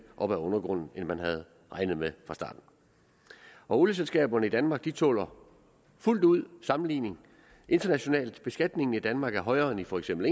op af undergrunden end man havde regnet med fra starten olieselskaberne i danmark tåler fuldt ud sammenligning internationalt beskatningen i danmark er højere end for eksempel